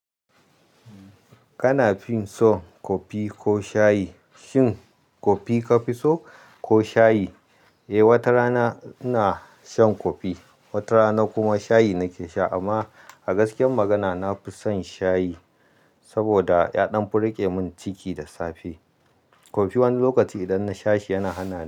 Wanne kafi so kofi ko shayi? Shin kofi kafi so ko shayi? Eh, wata rana ina shan kofi, wata rana kuma shayi nake sha amma a gaskiyar magana nafi son shayi saboda yaɗan fi rike min ciki da safe. Kofi wani lokaci idan na sha shi yana hana ni.